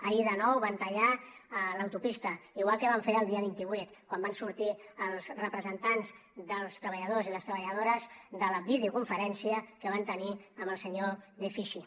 ahir de nou van tallar l’autopista igual que van fer el dia vint vuit quan van sortir els representants dels treballadors i les treballadores de la videoconferència que van tenir amb el senyor de ficchy